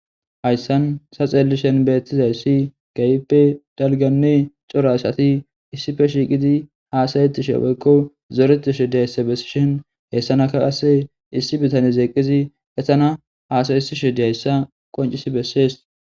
hayssan sa xeellishen beettizay si gayppe dalganni corashati issife shiiqidi haasayetishe woykko zooretishe dihayssa bessishen heessanaka qase issi bitane zeeqqizi esana haasayyesishe diyhayssa qoncis bessees